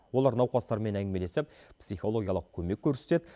олар науқастармен әңгімелесіп психологиялық көмек көрсетеді